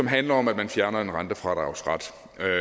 handler om at man fjerner en rentefradragsret